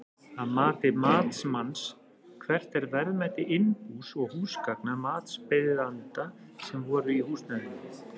Að mati matsmanns, hvert er verðmæti innbús og húsgagna matsbeiðanda sem voru í húsnæðinu?